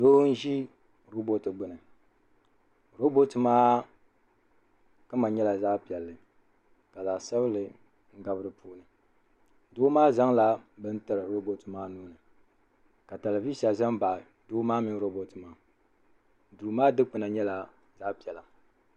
doo n-ʒi rooboti gbuni rooboti maa kama nyɛla zaɣ' piɛlli ka zaɣ' sabinli gabi di puuni doo maa zaŋla bini tiri rooboti maa nuu ni ka telivisa ʒe m-baɣi doo maa mini rooboti maa duu maa dukpuna nyɛla zaɣ' piɛla.